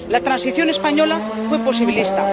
La transición española fue posibilista.